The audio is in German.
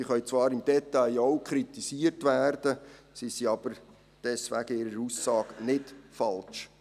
Diese können zwar im Detail auch kritisiert werden, sie sind aber deswegen in ihrer Aussage nicht falsch.